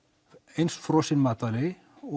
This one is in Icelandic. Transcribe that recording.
eins frosin matvæli og